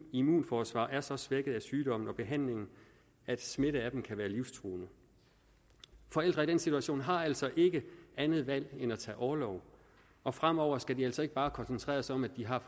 immunforsvar er så svækket af sygdommen og behandlingen at smitte for dem kan være livstruende forældre i den situation har altså ikke andet valg end at tage orlov og fremover skal de altså ikke bare koncentrere sig om at de har